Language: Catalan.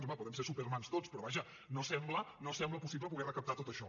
home podem ser supermans tots però vaja no sembla no ho sembla possible poder recaptar tot això